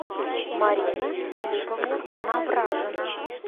марина филипповна навражина